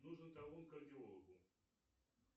нужен талон к кардиологу